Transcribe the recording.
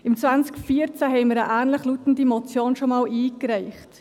Im Jahr 2014 reichten wir schon einmal eine ähnlich lautende Motion ein.